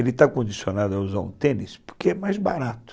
Ele está condicionado a usar um tênis porque é mais barato.